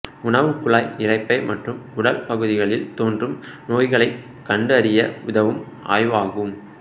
உணவுக் குழாய் இரைப்பை மற்றும் குடல் பகுதிகளில் தோன்றும் நோய்களைக் கண்டு அறிய உதவும் ஆய்வாகும்